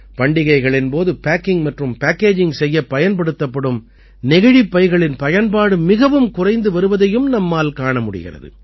பண்டிகைகளின் போது பேக்கிங் மற்றும் பேக்கேஜிங் செய்யப் பயன்படுத்தப்படும் நெகிழிப் பைகளின் பயன்பாடு மிகவும் குறைந்து வருவதையும் நம்மால் காண முடிகிறது